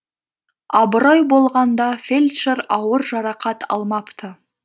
абырой болғанда фельдшер ауыр жарақат алмапты